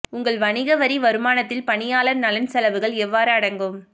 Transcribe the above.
உங்கள் வணிக வரி வருமானத்தில் பணியாளர் நலன் செலவுகள் எவ்வாறு அடங்கும்